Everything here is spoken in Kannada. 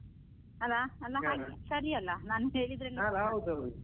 ಅಲ್ಲಾ ಅಲಾ ಹಾಗ್ ಸರಿ ಅಲ್ಲ ನಾನ್ .